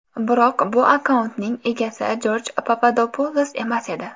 Biroq bu akkauntning egasi Jorj Papadopulos emas edi.